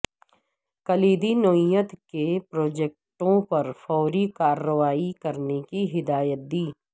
کلیدی نوعیت کے پروجیکٹوں پر فوری کارروائی کرنے کی ہدایت دی